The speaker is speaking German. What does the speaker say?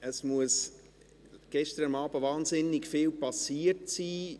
Es muss gestern Abend wahnsinnig viel passiert sein.